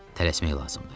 Tələsmək lazımdır.